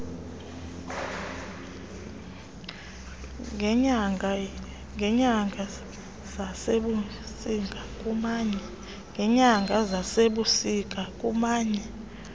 ngeenyanga zasebusika kumanye